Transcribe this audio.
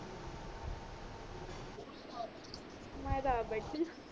ਮੈਂ ਤਾ ਆਪ ਬੈਠੀ ਆ